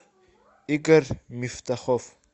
игорь мифтахов